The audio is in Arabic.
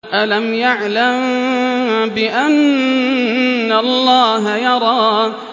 أَلَمْ يَعْلَم بِأَنَّ اللَّهَ يَرَىٰ